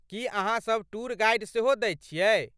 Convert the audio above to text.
की अहाँ सभ tour guide सेहो दैत छियै?